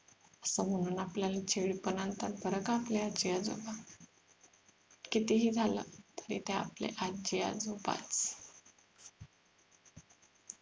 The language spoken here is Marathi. असं म्हणून आपल्याला चीड पण आणतात बरं का आपले आजी आजोबा कितीही झालं तरी ते आपले आजी आजोबा आहे.